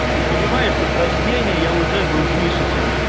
ты понимаешь что с рождения я уже был выше чем ты